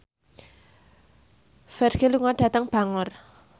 Ferdge lunga dhateng Bangor